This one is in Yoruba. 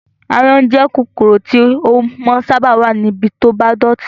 Áyán jẹ́ kòkòrò tí ó máa ń sábà wá ní ibi to bá dọ̀tí